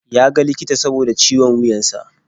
Ya ga likita saboda ciwon wuyan sa.